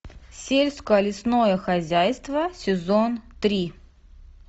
сельско лесное хозяйство сезон три